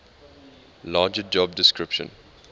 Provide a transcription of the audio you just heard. larger job description